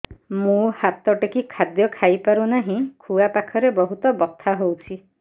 ମୁ ହାତ ଟେକି ଖାଦ୍ୟ ଖାଇପାରୁନାହିଁ ଖୁଆ ପାଖରେ ବହୁତ ବଥା ହଉଚି